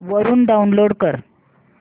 वरून डाऊनलोड कर